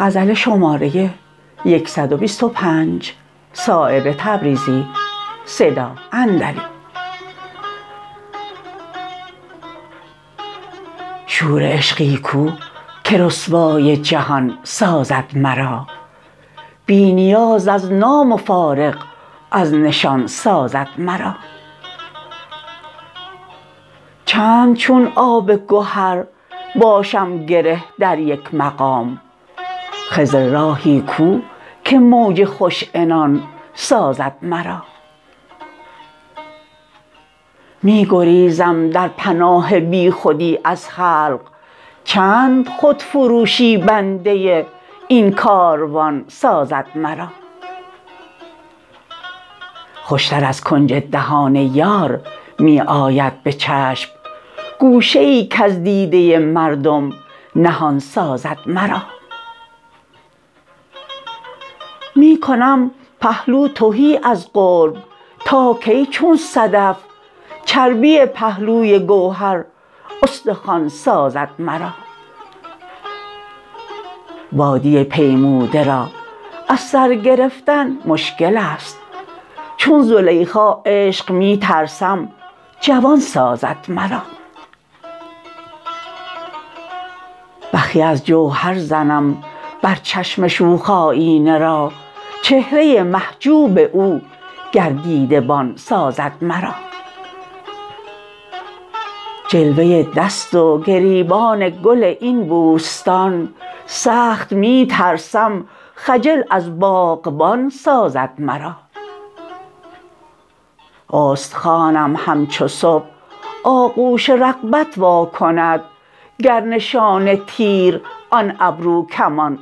شور عشقی کو که رسوای جهان سازد مرا بی نیاز از نام و فارغ از نشان سازد مرا چند چون آب گهر باشم گره در یک مقام خضر راهی کو که موج خوش عنان سازد مرا می گریزم در پناه بی خودی از خلق چند خودفروشی بنده این کاروان سازد مرا خوشتر از کنج دهان یار می آید به چشم گوشه ای کز دیده مردم نهان سازد مرا می کنم پهلو تهی از قرب تا کی چون صدف چربی پهلوی گوهر استخوان سازد مرا وادی پیموده را از سرگرفتن مشکل است چون زلیخا عشق می ترسم جوان سازد مرا بخیه از جوهر زنم بر چشم شوخ آیینه را چهره محجوب او گر دیده بان سازد مرا جلوه دست و گریبان گل این بوستان سخت می ترسم خجل از باغبان سازد مرا استخوانم همچو صبح آغوش رغبت واکند گر نشان تیر آن ابرو کمان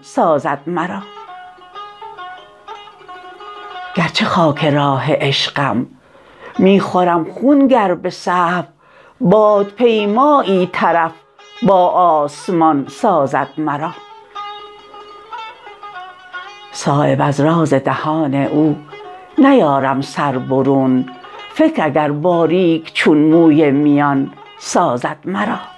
سازد مرا گر چه خاک راه عشقم می خورم خون گر به سهو بادپیمایی طرف با آسمان سازد مرا صایب از راز دهان او نیارم سر برون فکر اگر باریک چون موی میان سازد مرا